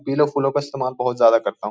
पीलो फूलों का इस्तेमाल बहुत ज्यादा करता हूं।